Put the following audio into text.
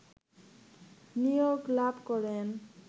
নিয়োগ লাভ করেন